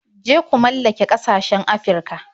Je ku mallake ƙasashen Afirka.